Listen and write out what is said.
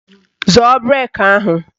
Zọọ brek ahụ!